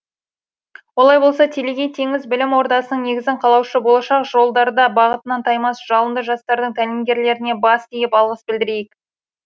олай болса телегей теңіз білім ордасының негізін қалаушы болашақ жолдарда бағытынан таймас жалынды жастардың тәлімгерлеріне бас иіп алғыс білдірейік